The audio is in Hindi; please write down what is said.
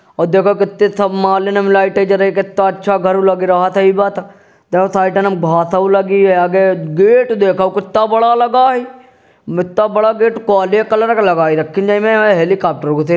हो देख केत्ते सब मालेन में लाइटे जरइ केत्ता अच्छा घरओ लग रहत ह गेट देख केत्ता बड़ा लगा ह मित्ता बड़ा गेट काले कलर क लगाई रक्खेंन निमे हेलिकाप्टर घुसे --